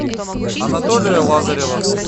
анатолия лазарева